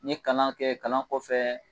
N ye kalan kɛ kalan kɔfɛ